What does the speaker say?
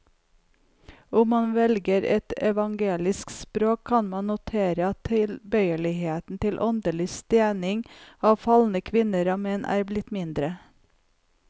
Om man velger et evangelisk språk, kan man notere at tilbøyeligheten til åndelig stening av falne kvinner og menn er blitt mindre.